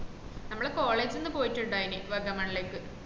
നമ്മളാ college ന്ന് പൊയിട്ടുണ്ടായ്നു വാഗമണലേക്ക്